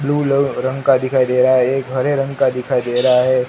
Blue ल रंग का दिखाई दे रहा एक हरे रंग का दिखाई दे रहा है।